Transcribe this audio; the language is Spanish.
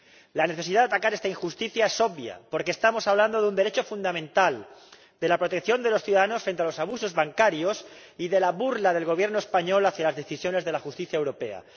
La necesidad de atacar esta injusticia es obvia, porque estamos hablando de un derecho fundamental, de la protección de los ciudadanos frente a los abusos bancarios y de la burla del Gobierno español hacia las decisiones de la justicia europea.